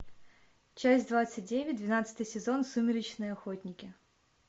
часть двадцать девять двенадцатый сезон сумеречные охотники